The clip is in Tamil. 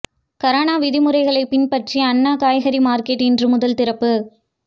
கரோனா விதிமுறைகளைப் பின்பற்றி அண்ணா காய்கறி மாா்க்கெட் இன்று முதல் திறப்பு